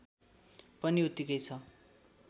पनि उत्तिकै छ